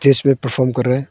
जिसमें परफार्म कर रहा है।